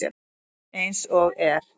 Eins og er.